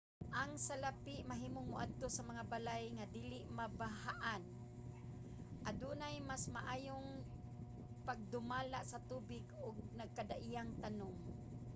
ang salapi mahimong maadto sa mga balay nga dili mabahaan adunay mas maayong pagdumala sa tubig ug nagkadaiyang tanum